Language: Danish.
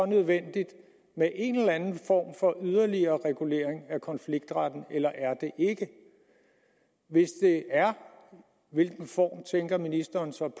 nødvendigt med en eller anden form for yderligere regulering af konfliktretten eller er det ikke hvis det er hvilken form tænker ministeren så